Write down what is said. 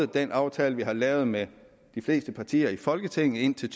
den aftale vi har lavet med de fleste partier i folketinget indtil